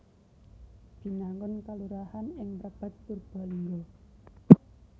Binangun kelurahan ing Mrebet Purbalingga